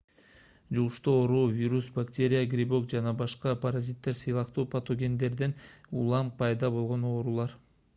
жугуштуу оору вирус бактерия грибок же башка паразиттер сыяктуу патогендерден улам пайда болгон оорулар